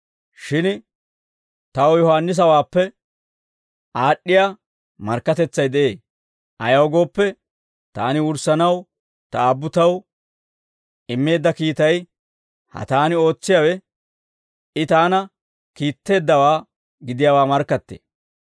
«Shin taw Yohaannisawaappe aad'd'iyaa markkatetsay de'ee; ayaw gooppe, taani wurssanaw Ta Aabbu taw immeedda kiitay, ha taani ootsiyaawe, I taana kiitteeddawaa gidiyaawaa markkattee.